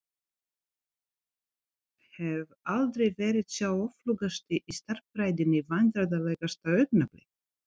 Hef aldrei verið sá öflugasti í stærðfræðinni Vandræðalegasta augnablik?